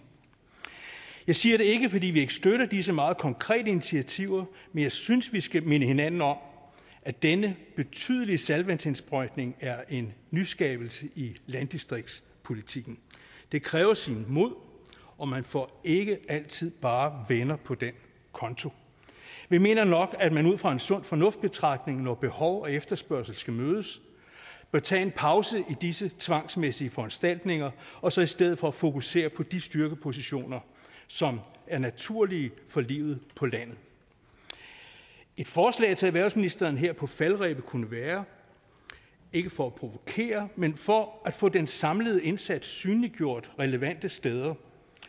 jeg siger det ikke fordi vi ikke støtter disse meget konkrete initiativer men jeg synes at vi skal minde hinanden om at denne betydelige saltvandsindsprøjtning er en nyskabelse i landdistriktspolitikken det kræver mod og man får ikke altid bare venner på den konto vi mener nok at man ud fra en sund fornuftbetragtning når behov og efterspørgsel skal mødes bør tage en pause i disse tvangsmæssige foranstaltninger og så i stedet for fokusere på de styrkepositioner som er naturlige for livet på landet et forslag til erhvervsministeren her på falderebet kunne være ikke for at provokere men for at få den samlede indsats synliggjort relevante steder